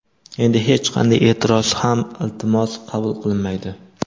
Endi hech qanday e’tiroz ham iltimos qabul qilinmaydi.